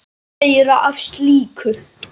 Meira af slíku!